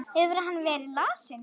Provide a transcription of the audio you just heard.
Hefur hann verið lasinn?